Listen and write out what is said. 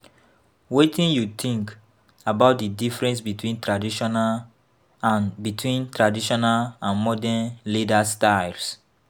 Wetin you think about di difference between traditional and between traditional and modern leaders styles?